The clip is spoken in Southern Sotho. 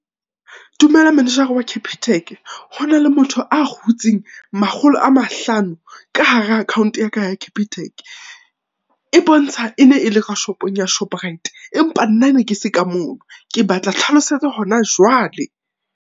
Dumela manejara wa Capitec, Hona le motho a hutseng makgolo a mahlano ka hara account ya ka ya Capitec. E bontsha e ne e le ka shopong ya Shoprite, empa nna ne ke se ka mono. Ke batla tlhlalosetso hona jwale.